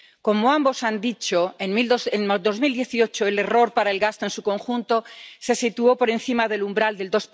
Como ambos han dicho, en 2018 el error para el gasto en su conjunto se situó por encima del umbral del